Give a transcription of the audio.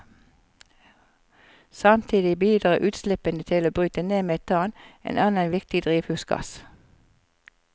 Samtidig bidrar utslippene til å bryte ned metan, en annen viktig drivhusgass.